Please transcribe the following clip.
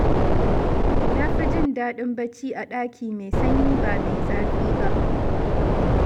Na fi jin daɗin bacci a ɗaki mai sanyi ba mai zafi ba.